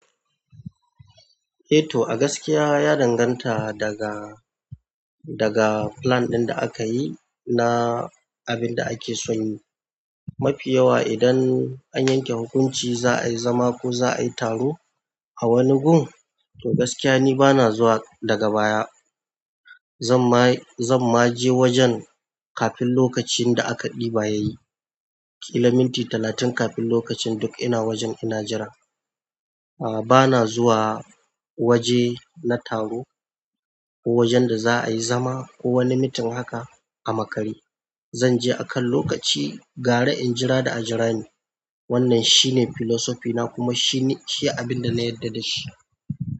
Eh to a gaskiya ya danganta daga, daga plan ɗin da aka yi na abin da ake son yi. Mafi yawa idan an yanke hukunci za a yi zama ko za a yi taro a wani gun, to gaskiya ni bana zuwa daga baya. Zan ma zan ma je wajen kafin lokacin da aka ɗiba ya yi. Kilomita talatin kafin lokacin duk ina wajen ina jira. A ba na zuwa waje na taro ko wajen da za a yi zama ko wani mitin haka a makare. Zan je akan lokaci gara in jira da a jira ni. Wannan shine filosofina kuma shi ne, shi abin da na yarda da shi.